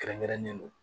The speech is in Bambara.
Kɛrɛnkɛrɛnnen don